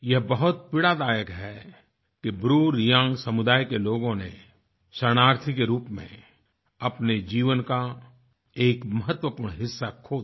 यह बहुत पीड़ा दायक है किBruReangसमुदाय के लोगों ने शरणार्थी के रूप में अपने जीवन का एक महत्वपूर्ण हिस्सा खो दिया